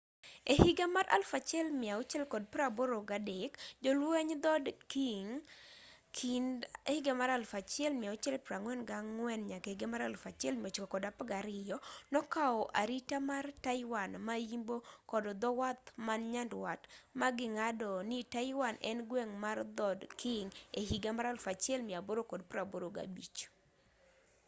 ehiga mar 1683 jolweny dhod qing 1644-1912 nokaw arita mar taiwan ma-yimbo kod dhowath man nyandwat maging'ado ni taiwan en gweng' mar dhod qing ehiga mar 1885